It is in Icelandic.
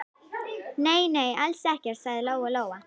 Nei, nei, alls ekkert, sagði Lóa-Lóa.